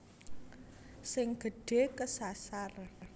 Sing gedhe kesasar